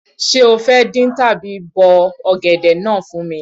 Ṣé o fẹ́ dín tàbí bọ ọ̀gẹ̀dẹ̀ náà fún mi?